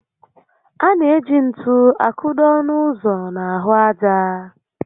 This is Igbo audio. A na eji ntú a kụdo ọnụ ụzọ n'ahụ ájá